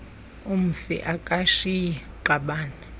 umfi akashiyi qabane